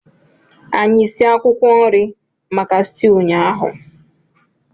Anyị sie akwụkwọ nri maka stew ụnyaahụ.